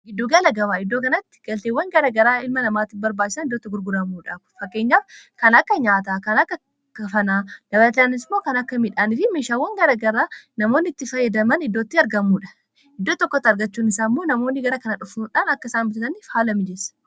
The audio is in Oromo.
Gidduu gala gabaa:-Iddoo kanatti galteewwan garaa garaa ilma namaatiif barbaachisan iddoo itti gurguramudha. Kun fakkeenyaaf kan akka nyaataa, kan akka kafanaa dabalataanis immoo kan akka midhaaniifi meeshaawwan garaa garaa namoonni itti fayyadaman iddoo itti argamudha. Iddoo tokkotti argachuun isaa immoo namoonni gara kana dhufuudhaan akka isaan bitataniif haala mijeessa.